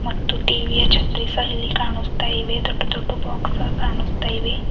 ಮತ್ತು ಟಿ_ವಿ ಯ ಚತ್ರಿ ಸಹ ಇಲ್ಲಿ ಕಾಣುಸ್ತಾ ಇವೆ ದೊಡ್ಡ ದೊಡ್ಡ ಬಾಕ್ಸ್ ಕಾಣುಸ್ತಾ ಇವೆ.